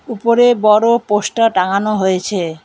উপরে বড় পোস্টার টাঙানো হয়েছে।